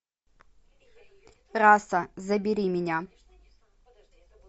раса забери меня